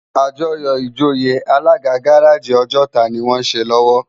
Ájòyò ijóyé Alàgá gàráji Ojota ni wòn sé lòwò